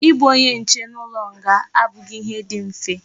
I bu onye nche n'ulo nga abughi ihe di mfe